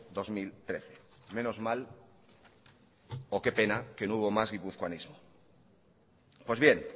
dos mil trece menos mal o que pena que no hubo más guipuzcoanismo pues bien